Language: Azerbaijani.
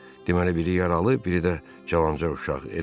Deməli biri yaralı, biri də cavanca uşaq, eləmi?